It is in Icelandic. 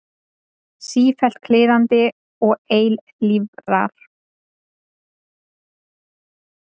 Sífellt kliðandi og eilífrar.